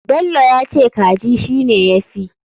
Bello yace kaji shine yafi.